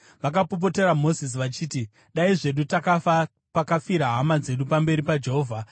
Vakapopotera Mozisi vachiti, “Dai zvedu takafa pakafira hama dzedu pamberi paJehovha!